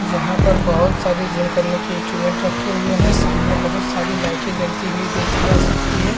यहाँ पर बहोत सारी जिम करने की इंस्टूमेंट रखे हुए है सामने बहुत सारी लाइटे जलती हुई देखी जा सकती है।